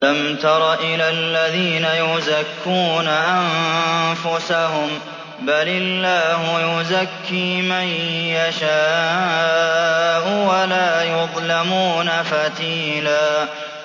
أَلَمْ تَرَ إِلَى الَّذِينَ يُزَكُّونَ أَنفُسَهُم ۚ بَلِ اللَّهُ يُزَكِّي مَن يَشَاءُ وَلَا يُظْلَمُونَ فَتِيلًا